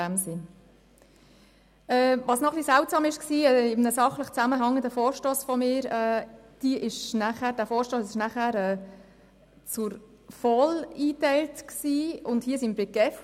In einem sachlichen Zusammenhang ist es auch ein wenig seltsam, dass mein anderer, gleichzeitig eingereichter Vorstoss der VOL zugeteilt wurde und dieser hier der GEF.